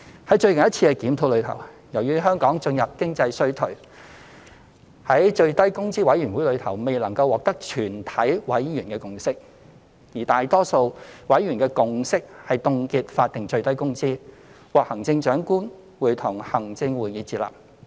在最近一次的檢討中，由於香港進入經濟衰退，故在最低工資委員會內未能獲得全體委員的共識，而大多數委員的共識是凍結法定最低工資，並獲得行政長官會同行政會議接納。